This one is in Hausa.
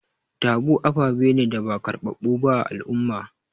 Taboo aɓaɓe ne da ba karbaɓu ɓa a al'umma.